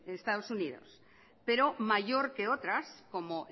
en estados unidos pero mayor que otras como